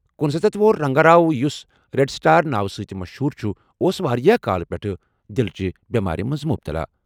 کنُسَتتھ وُہُر رنگا راؤ، یُس red star ناوٕ سۭتۍ مشہوٗر چھُ، اوس واریٛاہ کالہٕ پٮ۪ٹھٕ دِلٕچ بٮ۪مارِ منٛز مُبتلا۔